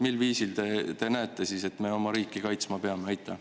Mil viisil teie arvates me siis oma riiki kaitsma peame?